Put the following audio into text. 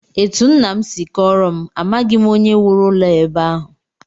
Etu nna m si kọọrọ m, amaghị onye wuru ụlọ a ebe ahụ